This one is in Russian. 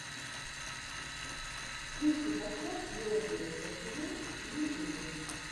включи подкаст георгия каргина в ютубе